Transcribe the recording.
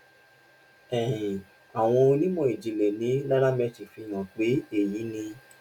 um àwọn onímò ìjìnlẹ ní nairametrics fi hàn pé èyí ni